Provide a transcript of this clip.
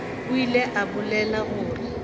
o ile a bolela gore